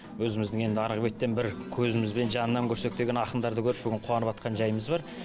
өзіміздің енді арғы беттен бір көзімізбен жанынан көрсек деген ақындарды көріп бүгін қуаныватқан жайымыз бар